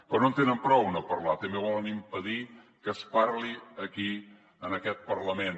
però no en tenen prou de no parlar també volen impedir que es parli aquí en aquest parlament